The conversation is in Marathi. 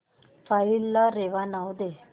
फाईल ला रेवा नाव दे